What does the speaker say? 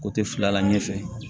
Ko te fila la ɲɛfɛ